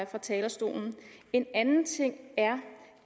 fra talerstolen en anden ting er